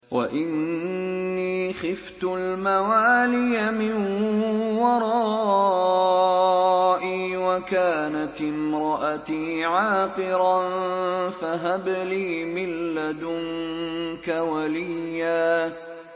وَإِنِّي خِفْتُ الْمَوَالِيَ مِن وَرَائِي وَكَانَتِ امْرَأَتِي عَاقِرًا فَهَبْ لِي مِن لَّدُنكَ وَلِيًّا